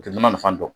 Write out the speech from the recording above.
U tɛ nɔnɔ nafa dɔn